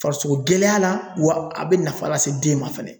Farisoko gɛlɛya la wa a bɛ nafa lase den ma fana